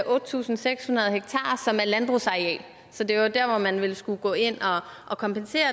otte tusind seks hundrede ha som er landbrugsareal så det er der hvor man ville skulle gå ind og kompensere